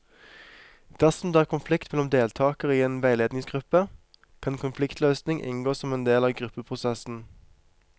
Dersom det er konflikt mellom deltakere i en veiledningsgruppe, kan konfliktløsning inngå som en del av gruppeprosessen.